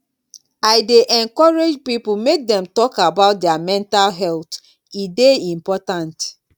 i dey encourage people make dem talk about their mental health e dey important